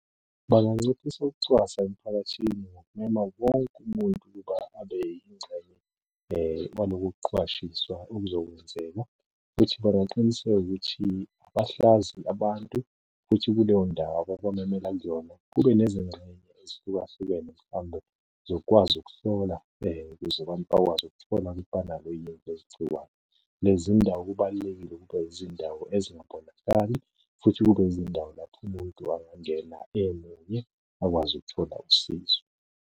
Banganciphisa ukucwasa emphakathini ngokumema wonke umuntu ukuba abe yingxenye kwalokhu kuqwashiswa okuzokwenzeka, futhi bangaqiniseka ukuthi abahlazi abantu, futhi kuleyo ndawo ababamemela kuyona, kube nezingxenye ezihlukahlukene mhlawumbe zokukwazi ukuhlola ukuze abantu bakwazi ukuthola ukuthi banalo yini leli gciwane. Lezi ndawo kubalulekile ukuba zindawo , futhi kube zindawo lapho umuntu angangena emunye akwazi ukuthola usizo.